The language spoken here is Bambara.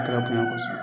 A tɛgɛ bonɲa kosɛbɛ